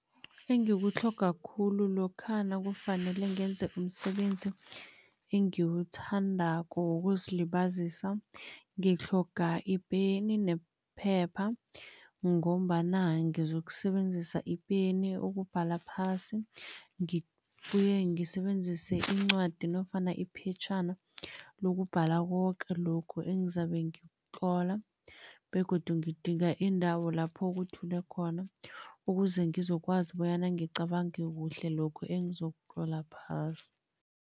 Engikutlhoga khulu lokha nakufanele ngenze umsebenzi engiwuthandako wokuzilibazisa, ngitlhoga ipeni nephepha ngombana ngizokusebenzisa ipeni ukubhala phasi, ngibuye ngisebenzise incwadi nofana iphetjhana lokubhala koke lokhu engizabe ngikutlola begodu ngidinga indawo lapho kuthule khona, ukuze ngizokwazi bonyana ngicabange kuhle lokhu engizokutlola phasi.